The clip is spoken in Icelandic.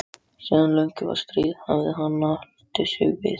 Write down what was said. Síðan löngu fyrir stríð hafði hann haldið sig við